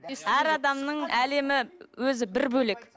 әр адамның әлемі өзі бір бөлек